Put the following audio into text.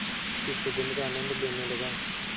की सुगंध का आनंद लेने लगा